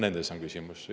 Nendes on küsimus.